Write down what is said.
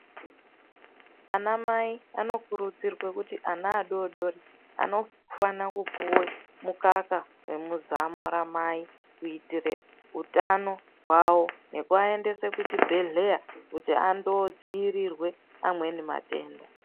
Anamai anokurudzirwe kuti ana adodori ,anofana kupuwe mukaka wemuzamo ramai kuitire utano hwavo, nekuaendese kuchibhedhleya kuti andodziirirwe amweni matenda.